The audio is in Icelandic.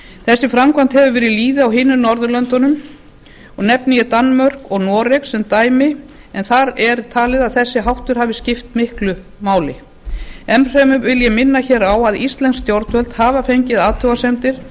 þessi framkvæmd hefur verið við lýði á hinum norðurlöndunum og nefni ég danmörku og noreg sem dæmi en þar er talið að þessi háttur hafi skipt miklu máli enn fremur vil ég minna hér á að íslensk stjórnvöld hafa fengið athugasemdir